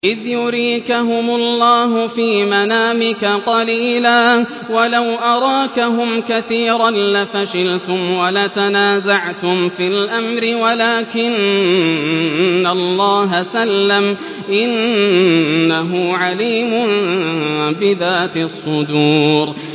إِذْ يُرِيكَهُمُ اللَّهُ فِي مَنَامِكَ قَلِيلًا ۖ وَلَوْ أَرَاكَهُمْ كَثِيرًا لَّفَشِلْتُمْ وَلَتَنَازَعْتُمْ فِي الْأَمْرِ وَلَٰكِنَّ اللَّهَ سَلَّمَ ۗ إِنَّهُ عَلِيمٌ بِذَاتِ الصُّدُورِ